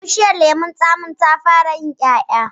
Bishiyar lemon tsamin ta fara yin ƴaƴa